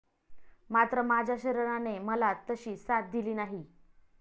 मात्र, माझ्या शरीराने मला तशी साथ दिली नाही.